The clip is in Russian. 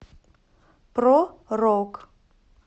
про рок